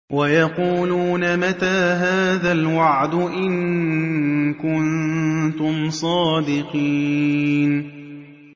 وَيَقُولُونَ مَتَىٰ هَٰذَا الْوَعْدُ إِن كُنتُمْ صَادِقِينَ